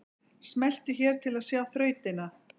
Smelltu hér til að sjá þrautina